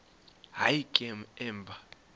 hayi ke emva